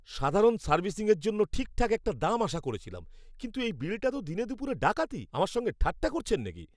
সাধারণ সার্ভিসিংয়ের জন্য ঠিকঠাক একটা দাম আশা করেছিলাম, কিন্তু এই বিলটা তো দিনেদুপুরে ডাকাতি! আমার সঙ্গে ঠাট্টা করছেন নাকি?